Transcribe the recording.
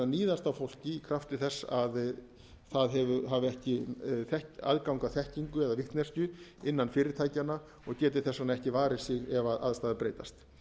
níðast á fólki krafti þess að það hafi ekki aðgang að þekkingu eða vitneskju innan fyrirtækjanna og geti þess vegna ekki varið sig ef aðstæður breytast